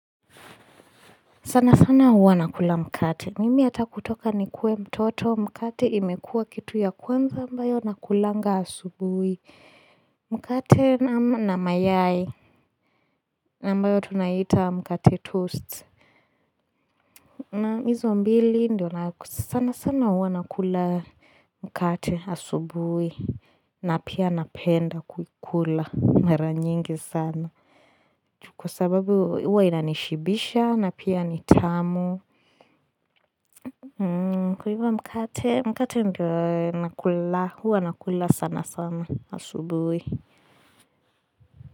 Sana sana huwa nakula mkate, mimi hata kutoka nikuwe mtoto, mkate imekua kitu ya kwanza ambayo nakulanga asubui, mkate na mayai, ambayo tunaita mkate toast. Hizo mbili ndio sana sana huwa nakula mkate asubui, na pia napenda kuikula mara nyingi sana, kwa sababu huwa inanishibisha, na pia ni tamu. Kwa hivo mkate, mkate ndio nakula huwa nakula sana sana asubui.